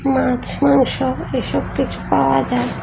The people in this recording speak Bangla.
মাছ মাংস এসব কিছু পাওয়া যায়।